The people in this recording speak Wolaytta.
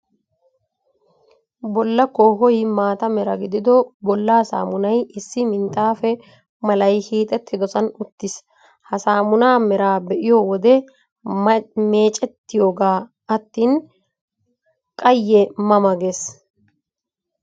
Bolla koohoy maata mera gidido bollaa saamunay lssi minxxaafe malay hiixettidoosan uttiis. Ha saamunaa meraa be'iyo wode, meecettiyoogaa attin qayye ma ma gees.